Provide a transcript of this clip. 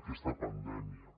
aquesta pandèmia